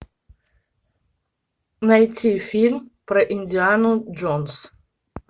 найти фильм про индиану джонс